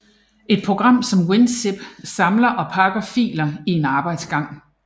Et program som WinZip samler og pakker filer i en arbejdsgang